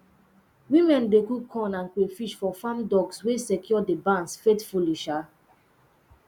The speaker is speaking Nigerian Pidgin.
women dey cook corn and crayfish for farm dogs wey secure the barns faithfully um